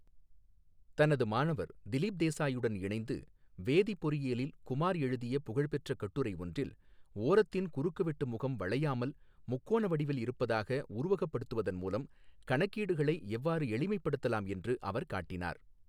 தனது மாணவர் திலீப் தேசாயுடன் இணைந்து வேதிப் பொறியியலில் குமார் எழுதிய புகழ்பெற்ற கட்டுரை ஒன்றில், ஓரத்தின் குறுக்குவெட்டு முகம் வளையாமல் முக்கோண வடிவில் இருப்பதாக உருவகப்படுத்துவதன் மூலம் கணக்கீடுகளை எவ்வாறு எளிமைப்படுத்தலாம் என்று அவர் காட்டினார்.